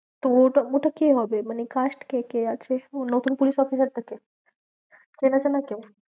তো ওটা ওটা কে হবে মানে caste কে কে আছে? ও নতুন police officer টাকে? আরে